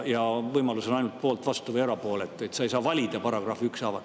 Ja võimalus on ainult olla poolt, vastu või erapooletu, sa ei saa valida paragrahve ükshaaval.